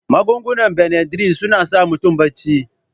Magungunan Benadryl suna sa mutum barci.